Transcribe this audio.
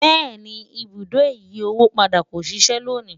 béèni, ibùdó ìyí owó padà kò ṣiṣe lóni